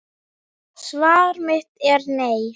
Svar mitt er nei.